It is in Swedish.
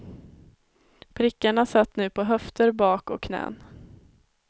Prickarna satt nu på höfter, bak och knän.